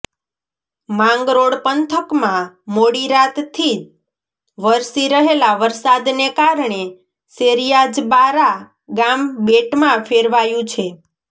માંગરોળ પંથકમાં મોડીરાતથી વરસી રહેલા વરસાદને કારણે શેરીયાજબારા ગામ બેટમાં ફેરવાયું છે